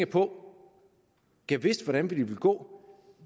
på gad vide hvordan det ville gå